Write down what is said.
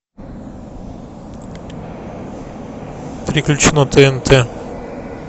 переключи на тнт